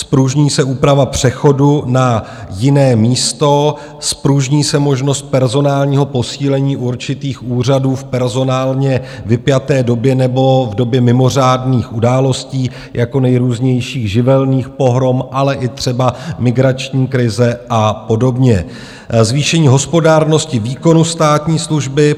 Zpružní se úprava přechodu na jiné místo, zpružní se možnost personálního posílení určitých úřadů v personálně vypjaté době nebo v době mimořádných událostí jako nejrůznějších živelných pohrom, ale i třeba migrační krize a podobně, zvýšení hospodárnosti výkonu státní služby.